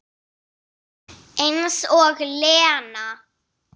Eins og Lena!